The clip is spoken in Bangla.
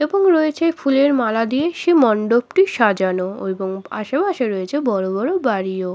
এবং রয়েছে ফুলের মালা দিয়ে সে মণ্ডপটির সাজানো এবং আশেপাশে রয়েছে বড়ো বড়ো বাড়িও।